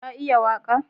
Ka iya waƙa?